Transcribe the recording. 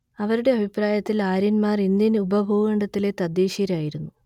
അവരുടെ അഭിപ്രായത്തിൽ ആര്യന്മാർ ഇന്ത്യൻ ഉപഭൂഖണ്ഡത്തിലെ തദ്ദേശീയരായിരുന്നു